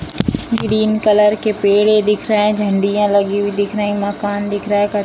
green colour के पेड़ें दिख रहे हैं झंडियाँ लगी हुई दिख रही हैं मकान दिख रहे हैं कच्च --